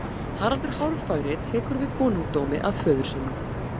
Haraldur hárfagri tekur við konungdómi af föður sínum.